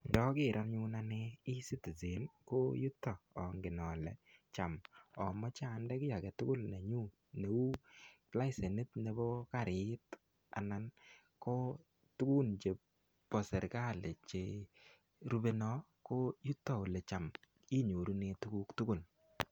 Ndoker anyun ane E-Citizen ko yuto ongen ole cham nomoche onde kiy age tugul nenyun neu lesenit nebo karit anan ko tugun chebo serkalit cherupe non, ko yuton eele cham inyorunen tuguk tugul.